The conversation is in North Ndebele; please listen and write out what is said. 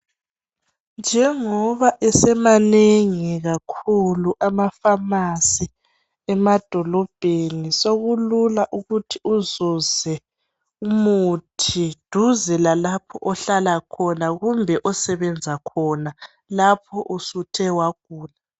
Njengoba esemanengi kakhulu ama"pharmacy"emadolobheni sokulula ukuthi uzuze umuthi duze lalapho ohlala khona kumbe lapho osebenza khona lapho usuthe wagula.